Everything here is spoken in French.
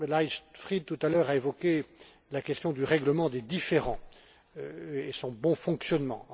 Leichtfried, tout à l'heure, a évoqué la question du règlement des différends et son bon fonctionnement.